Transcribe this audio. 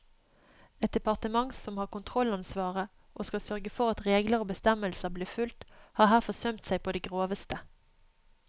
Et departement som har kontrollansvaret og skal sørge for at regler og bestemmelser blir fulgt, har her forsømt seg på det groveste.